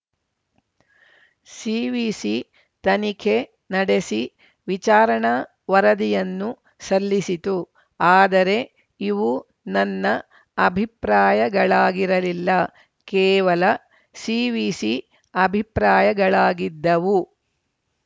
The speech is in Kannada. ಸಿವಿಸಿ ತನಿಖೆ ನಡೆಸಿ ವಿಚಾರಣಾ ವರದಿಯನ್ನು ಸಲ್ಲಿಸಿತು ಆದರೆ ಇವು ನನ್ನ ಅಭಿಪ್ರಾಯಗಳಾಗಿರಲಿಲ್ಲ ಕೇವಲ ಸಿವಿಸಿ ಅಭಿಪ್ರಾಯಗಳಾಗಿದ್ದವು